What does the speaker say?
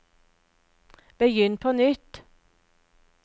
begynn på nytt